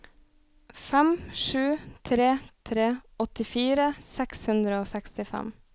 fem sju tre tre åttifire seks hundre og sekstifem